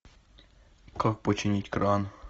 как починить кран